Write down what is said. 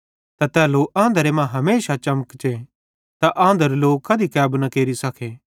त तै लो आंधरे मां हमेशा चमकचे त आंधरू लोई कधी कैबू न केरि सके